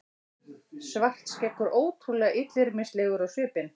Svartskeggur ótrúlega illyrmislegur á svipinn.